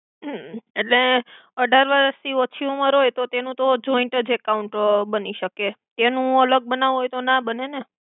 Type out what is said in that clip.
હ એટ્લે અઢાર વરસ થી ઓછી ઉમેર હોય તો તેનુ તો જોઇંટ જ એકાઊંન્ટ અ બની સકે એનુ અલ્ગ બનાવુ હોય તો ના બને ને